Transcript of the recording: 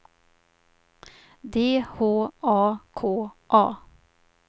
D H A K A